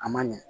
A ma ɲɛ